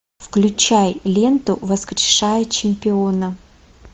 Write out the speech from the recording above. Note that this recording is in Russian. включай ленту воскрешая чемпиона